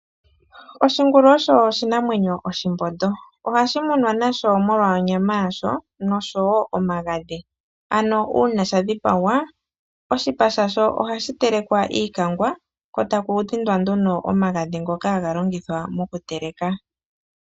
Oshingulu osho oshinamwemyo oshihethi ohashi munwa nasho molwa onyama yasho noshowo omagadhi. Ano uuna sha dhipagwa, oshipa shasho ohashi telekwa iikange ko taku dhindwa nduno omagadhi ngoka haga longithwa mokuteleka.